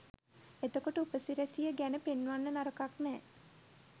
එතකොට උපසිරැසිය ගැන පෙන්වන්න නරකක් නෑ